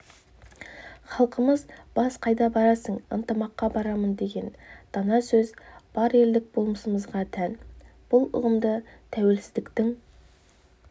халқымызда бақ қайда барасың ынтымаққа барамын деген дана сөз бар елдік болмысымызға тән бұл ұғымды тәуелсіздіктің